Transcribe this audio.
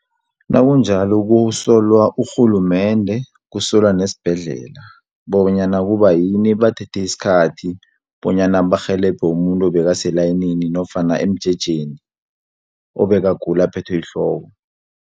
Nakunjalo kusolwa urhulumende, kusolwa nesibhedlela, bonyana kubayini bathethe isikhathi, bonyana barhelebhe umuntu obekase layinini, nofana emjejeni, obekagula aphethwe yihloko.